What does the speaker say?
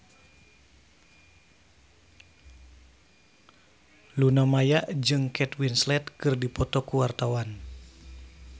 Luna Maya jeung Kate Winslet keur dipoto ku wartawan